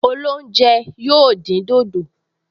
Olóúnjẹ yóò dín dòdò